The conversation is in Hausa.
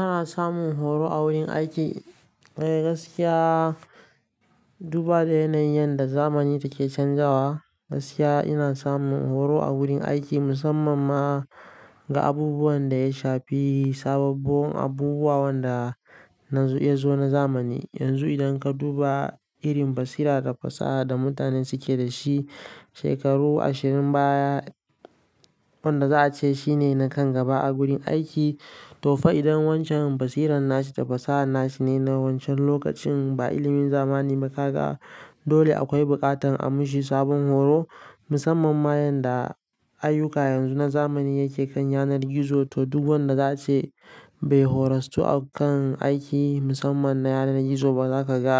Ana samun horo a wurin aiki. Eh gaskiya, duba da yanayin yadda zamani take canzawa, gaskiya ina samun horo a wurin aiki musamman ma ga abubuwan da ya shafi sababbon abubuwa wanda na zo na zamani. Yanzu idan ka duba irin basira da fasaha da mutane suke da shi shekaru ashirin baya, wanda za a ce shine na kan gaba a gurin aiki. To fa idan wancan basiran nashi da fasaha nashi ne na wancan lokacin ba ilimin zamani ba ka ga dole akwai buƙatan a mishi sabon horo musamman ma yanda ayyuka yanzu na zamani yake kan yanar gizo. To duk wanda za a ce bai horasu a kan aiki musamman na yanar gizo ba zaka ga